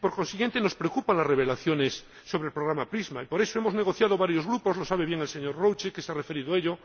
Por consiguiente, nos preocupan las revelaciones sobre el programa PRISM y por eso varios grupos hemos negociado —y lo sabe bien el señor Rouček, que se ha referido a ello—